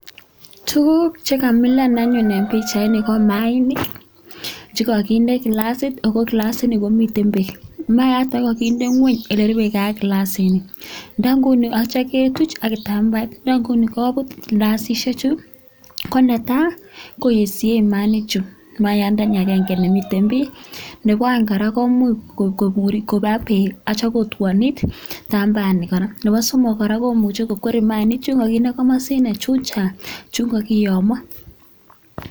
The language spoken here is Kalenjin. Tuguk che kamilan anyun en pichaini ko maainik chekoginde kilasit ago kilasini komiten beek. Maayat age kogokind engweny ole rube ge ak kilasini ak kityo ketuch ak kitambaet. Ndo nguni kobut kilasisiechu konetai koyesie mayaainichu, maayandani agenge nimiten bii nebo oeng kora komuch koba beek ak kityo kotwonit kitambaani kora nebo somok kora komuche kokwer maanichu koginde komosino chun chang chun kogiyomo.